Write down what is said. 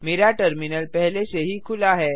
मेरा टर्मिनल पहले से ही खुला है